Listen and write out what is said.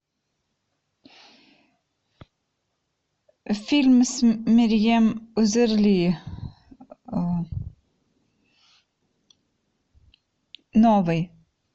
фильм с мерьем узерли новый